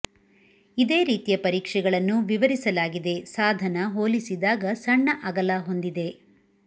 ಇದೇ ರೀತಿಯ ಪರೀಕ್ಷೆಗಳನ್ನು ವಿವರಿಸಲಾಗಿದೆ ಸಾಧನ ಹೋಲಿಸಿದಾಗ ಸಣ್ಣ ಅಗಲ ಹೊಂದಿದೆ